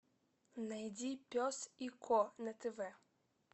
найди пес и ко на тв